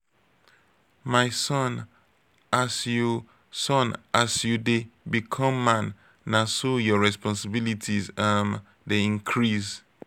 um my son as you son as you dey become man na so your responsilities um dey increase.